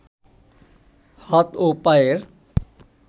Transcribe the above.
হাত ও পায়ের